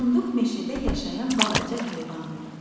Burunduk meşədə yaşayan balaca heyvandır.